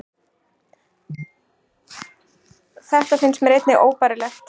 Þetta finnst mér einnig óbærilegt